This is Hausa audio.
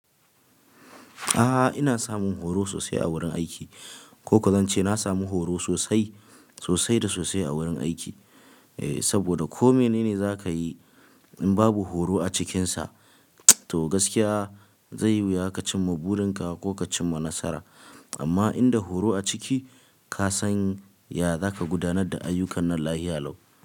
A ina samun horo sosai a gurin aiki ko-ko zance na samu horo sosai, sosai da sosai a wurin aiki. Eh, saboda ko mene ne za ka yi, in babu horo a cikinsa, to gaskiya zai wuya ka cimma burinka ko ka cimma nasara. Amma inda horo a ciki, ka san ya zaka gudanar da ayyukan na lahiya lau.